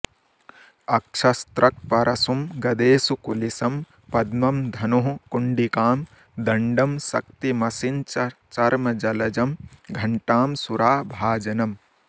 अक्षस्रक्परशुं गदेषु कुलिशं पद्मं धनुः कुण्डिकां दण्डं शक्तिमसिञ्च चर्मजलजं घण्टां सुराभाजनम्